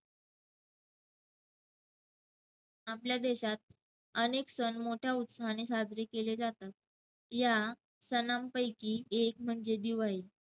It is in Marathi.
आपल्या देशात अनेक सण मोठ्या उत्साहाने साजरे केले जातात. या सणांपैकी एक म्हणजे दिवाळी.